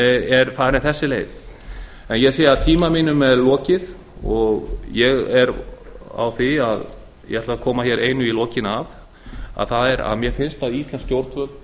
er þessi leið farin ég sé að tíma mínum er lokið og ég ætla að koma að einu í lokin mér finnst að íslensk stjórnvöld og